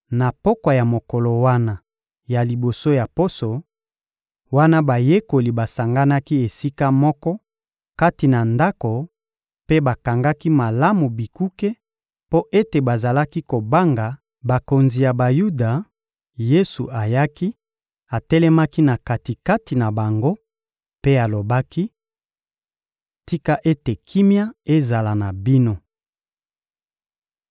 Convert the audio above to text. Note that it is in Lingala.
Na pokwa ya mokolo wana ya liboso ya poso, wana bayekoli basanganaki esika moko kati na ndako mpe bakangaki malamu bikuke mpo ete bazalaki kobanga bakonzi ya Bayuda, Yesu ayaki, atelemaki na kati-kati na bango mpe alobaki: — Tika ete kimia ezala na bino!